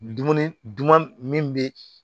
Dumuni dun min be